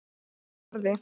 Ég starði.